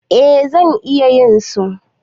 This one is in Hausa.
Eh zan iya yin su.